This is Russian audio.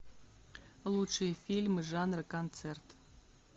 лучшие фильмы жанра концерт